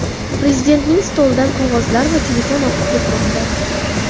Prezidentning stolidan qog‘ozlar va telefon oqib ketmoqda.